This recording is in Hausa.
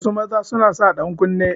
Wasu maza suna sa dankunne